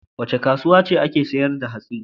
A wace kasuwa ake sayar da hatsi?